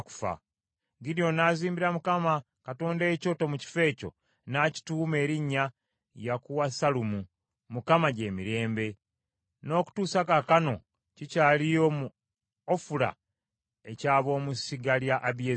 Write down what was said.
Gidyoni n’azimbira Mukama Katonda ekyoto mu kifo ekyo; n’akituuma erinnya Yakuwasalumu ( Mukama gy’emirembe); n’okutuusa kaakano kikyaliyo mu Ofula eky’ab’omu ssiga lya Abiezeri.